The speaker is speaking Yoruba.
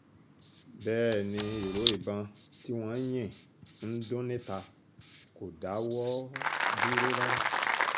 bẹ́ẹ̀ ni ìró ìbọn tí wọ́n ń yìn ń dún níta kò dáwọ́ dúró rárá